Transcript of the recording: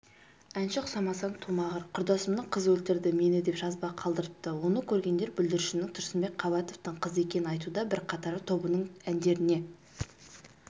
әнші ұқсамасаң тумағыр құрдасымның қызы өлтірді мені деп жазба қалдырыпты оны көргендер бүлдіршіннің тұрсынбек қабатовтың қызы екенін айтуда бірқатары тобының әндеріне